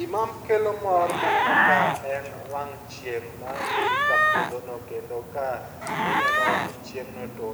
Gima kelo mor ma aneno kae en wang' chieng' madhi ka podhono kendo ka ineno wang' chieng' ni to